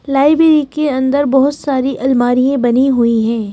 Library के अंदर बहुत सारी अलमारियें बनी हुईं हैं।